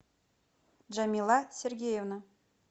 джамила сергеевна